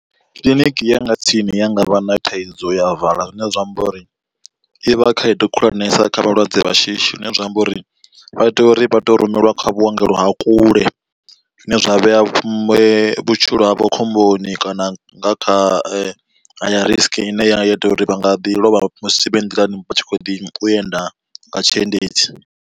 Kiḽiniki ya nga tsini ya ngavha na thaidzo ya vala zwine zwa amba uri i vha khaedu khulwanesa kha vhalwadze vha shishi, zwine zwa amba uri vha tea uri vha to rumeliwa kha vhuongelo ha kule zwine zwa vhea vhutshilo havho khomboni kana nga kha higher risk ine ya ita uri vha nga ḓi lovha musi vhe nḓilani vha tshi kho ḓi enda nga tshiendedzi.